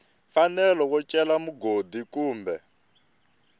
mfanelo yo cela mugodi kumbe